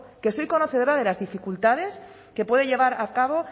que soy conocedora de las dificultades que puede llevar a cabo